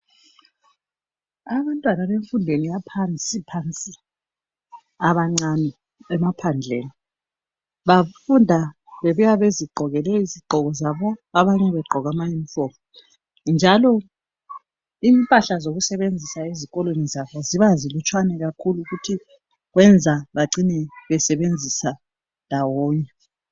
Abantwana bemfundweni yaphansi abancane emaphandleni . Bafunda bebuya bezigqokele izigqoko zabo abanye begqoke ama uniform . Njalo impahla zokusebenzisa ezikolweni zabo ziba zilutshwana kakhulu futhi kwenza bacine besebenzisa ndawonye .